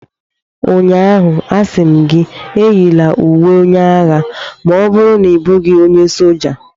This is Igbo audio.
Ụnyaahụ, a sị m gị, eyila uwe onye agha ma ọ bụrụ na ị bụghị onye soja!